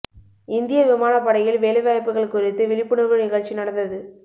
இந்திய விமானப்படையில் வேலைவாயப்புகள் குறித்து விழிப்புணர்வு நிகழ்ச்சி நடந்தது